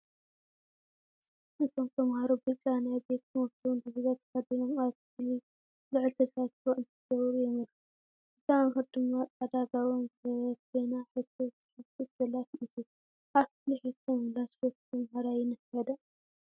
እቶም ተምሃሮ ብጫ ናይ ቤት/ቶም ዲቪዛ ተኸዲኖም ኣብ ክፍሊ ልዑል ተሳትፎ እንትገብሩ የመልክት፡፡ እታ መምህር ድማ ፃዕዳ ጋቦን ዝገበረት ኮይና ሕቶ ትሓትት ዘላ ትመስል፡፡ ኣብ ክፍሊ ሕቶ ምምላስ ዝፈቱ ተምሃራይ ይነፍዕ ዶ?